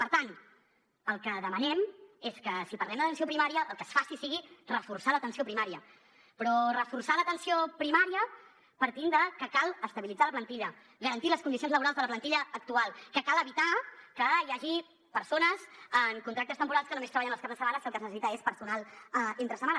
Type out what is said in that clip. per tant el que demanem és que si parlem d’atenció primària el que es faci sigui reforçar l’atenció primària però reforçar l’atenció primària partint de que cal estabilitzar la plantilla garantir les condicions laborals de la plantilla actual que cal evitar que hi hagi persones amb contractes temporals que només treballen els caps de setmana si el que es necessita és personal entre setmana